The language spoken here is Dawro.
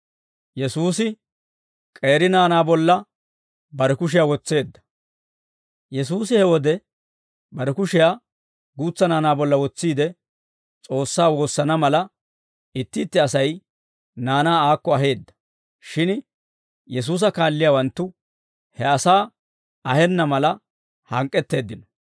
Yesuusi he wode bare kushiyaa guutsa naanaa bolla wotsiide, S'oossaa woosana mala, itti itti Asay naanaa aakko aheedda; shin Yesuusa kaalliyaawanttu he asaa ahenna mala hank'k'etteeddino.